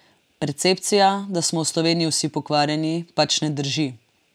Percepcija, da smo v Sloveniji vsi pokvarjeni, pač ne drži.